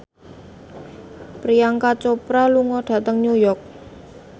Priyanka Chopra lunga dhateng New York